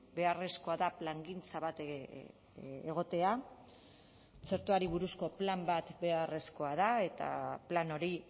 beharrezkoa da plangintza bat egotea txertoari buruzko plan bat beharrezkoa da eta plan hori